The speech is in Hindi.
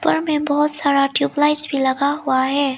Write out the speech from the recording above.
घर में बहोत सारा ट्यूबलाइट्स भी लगा हुआ है।